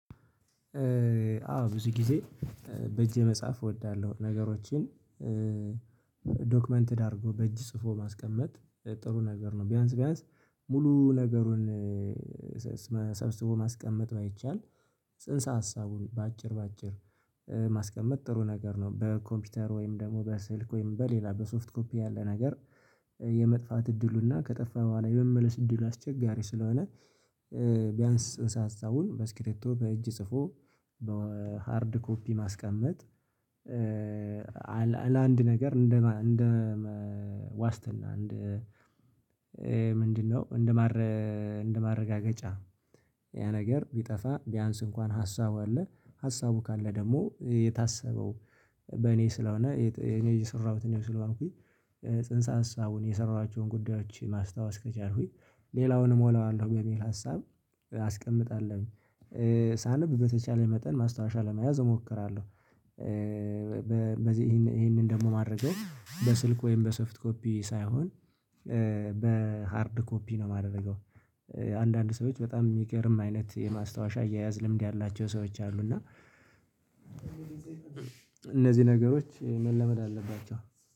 አዎ ብዙ ጊዜ በእጄ መጽሐፍ እወዳለሁ ነገሮችን ዶክመንትድ አድርጎ በእጅ ጽፎ ማስቀመጥ ጥሩ ነገር ነው። ቢያንስ ቢያንስ ሙሉ ነገሩን ሰብስቦ ማስቀመጥ ባይቻል። ጽንሰ ሀሳቡን በአጭር በአጭር ማስቀመጥ ጥሩ ነገር ነው። በኮምፒውተር ወይም ደግሞ በስልክ ወይም በሌላ በሶፍት ኮፒ ያለ ነገር የመጥፋት እድሉና ከጠፋ በኋላ የመመለስ እድሉ አስቸጋሪ ስለሆነ። ቢያንስ ጽንሰ ሀሳቡን በስክሪቶ በእጅ ጽፎ በሃርድ ኮፒ ማስቀመጥ። ለአንድ ነገር እንደ ዋስትና እንደ ምንድነው? እንደ ማረጋገጫ ያ ነገር ቢጠፋ ቢያንስ እንኳን ሀሳቡ አለ። ሀሳቡ ካለ ደግሞ የታሰበው በእኔ ስለሆነ እኔ የሰራሁት እኔ ስለሆንኩኝ ጽንሰ አሳቡን የሰራኋቸውን ጉዳዮች ማስታወስ ከቻልኩኝ ሌላውን እሞላዋለሁ በሚል ሀሳብ አስቀምጣለሁኝ። ሳነብ በተቻለ መጠን ማስታወሻ ለመያዝ እሞክራለሁ። በዚህ ይሄንን ደግሞ ማድረገው በስልክ ወይም በሶፍት ኮፒ ሳይሆን በሃርድ ኮፒ ነው የማደርገው። አንዳንድ ሰዎች በጣም የሚገርም አይነት የማስታወሻ አየያዝ ልምድ ያላቸው ሰዎች አሉ። እና እነዚህ ነገሮች መለመድ አለባቸው